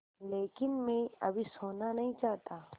लेकिन मैं अभी सोना नहीं चाहता